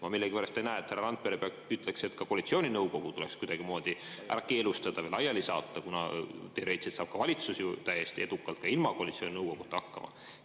Ma millegipärast ei näe, et härra Randpere ütleks, et ka koalitsiooninõukogu tuleks kuidagimoodi keelustada või laiali saata, kuna teoreetiliselt saab valitsus ju täiesti edukalt ka ilma koalitsiooninõukoguta hakkama.